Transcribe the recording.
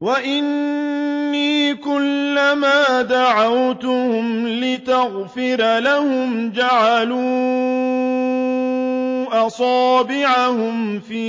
وَإِنِّي كُلَّمَا دَعَوْتُهُمْ لِتَغْفِرَ لَهُمْ جَعَلُوا أَصَابِعَهُمْ فِي